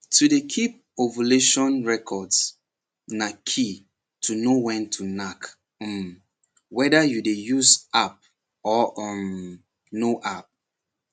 to dey keep ovulation records na key to know when to knack um whether you dey use app or um no app